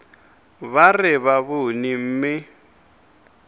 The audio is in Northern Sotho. ba re ba bone mme